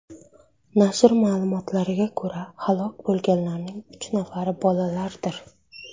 Nashr ma’lumotlariga ko‘ra, halok bo‘lganlarning uch nafari bolalardir.